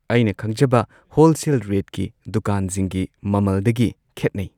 ꯑꯩꯅ ꯈꯪꯖꯕ ꯍꯣꯜꯁꯦꯜ ꯔꯦꯠꯀꯤ ꯗꯨꯀꯥꯟꯖꯤꯡꯒꯤ ꯃꯃꯜꯗꯒꯤ ꯈꯦꯠꯅꯩ꯫